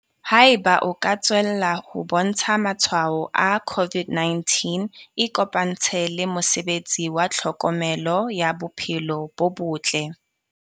Haeba o ka tswella ho bontsha matshwao a COVID-19, ikopantshe le mosebetsi wa tlhokomelo ya bophelo bo botle.